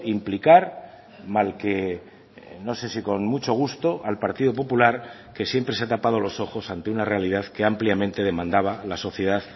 implicar mal que no sé si con mucho gusto al partido popular que siempre se ha tapado los ojos ante una realidad que ampliamente demandaba la sociedad